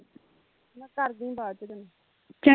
ਮੈਂ ਕਰਦੀ ਬਾਅਦ ਵਿਚ ਤੈਨੂੰ